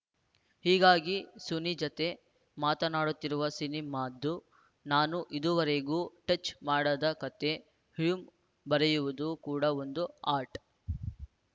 ಹೀಗಾಗಿ ಸುನಿ ಜತೆ ಮಾತಾನಡುತ್ತಿರುವ ಸಿನಿಮಾದ್ದು ನಾನು ಇದುವರೆಗೂ ಟಚ್‌ ಮಾಡದ ಕತೆ ಹ್ಯೂಮ್ ಬರೆಯುವುದು ಕೂಡ ಒಂದು ಆರ್ಟ್‌